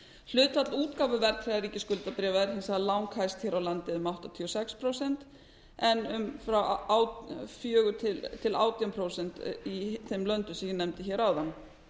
hlutfall útgáfu verðtryggðra ríkisskuldabréfa var hins vegar lang hæst hér á landi eða um áttatíu og sex prósent en um fjögur til átján prósent í þeim löndum sem ég nefndi hér áðan